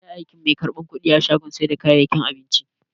Mene ne aikin mai karban kudi a shagon sai da kayayyakin abinci?